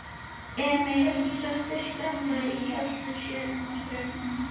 Emil setti Skunda í kjöltu sér og strauk honum.